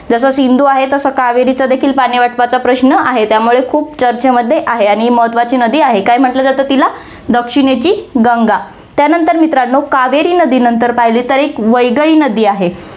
जसं सिंधु आहे, तसं कावेरीचा देखील पाणी वाटपाचा प्रश्न आहे, त्यामुळे खूप चर्चेमध्ये आहे आणि महत्वाची नदी आहे, काय म्हंटलं जातं तिला दक्षिणेची गंगा. त्यानंतर मित्रांनो, कावेरी नदीनंतर पाहिले तर एक वैगई नदी आहे.